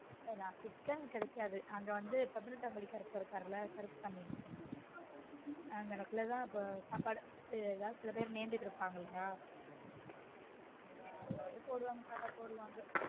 chicken அ chicken கெடைக்காது அங்க வந்து பதினெட்டாம் படி கருப்பு இருக்காருல கருப்பசாமி அங்கனக்குள்ள தான் சாப்பாடு ஏதாவது சில பேர் நேர்ந்துட்டு இருப்பாங்க இல்லயா யாராவது போடுவாங்க சாப்பாடு போட்டுட்டு இருப்பாங்க